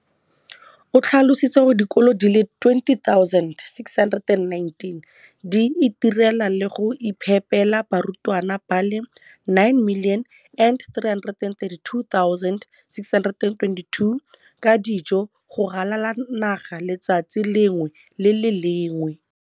o tlhalositse gore dikolo di le 20 619 di itirela le go iphepela barutwana ba le 9 032 622 ka dijo go ralala naga letsatsi le lengwe le le lengwe.